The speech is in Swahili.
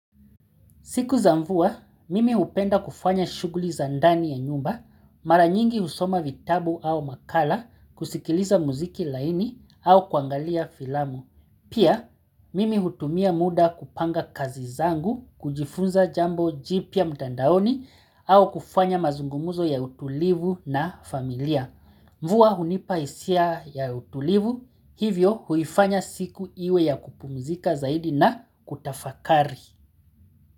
Siku za mvua, mimi hupenda kufanya shughuli za ndani ya nyumba, mara nyingi husoma vitabu au makala, kusikiliza muziki laini au kuangalia filamu. Pia, mimi hutumia muda kupanga kazi zangu, kujifunza jambo jipya mtandaoni au kufanya mazungumuzo ya utulivu na familia. Mvua hunipa hisia ya utulivu, hivyo huifanya siku iwe ya kupumzika zaidi na kutafakari.